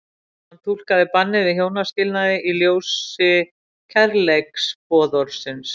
Hann túlkaði bannið við hjónaskilnaði í ljósi kærleiksboðorðsins.